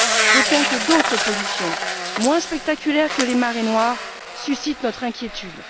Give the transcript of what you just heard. D'autant que d'autres pollutions, moins spectaculaires que les marées noires, suscitent notre inquiétude.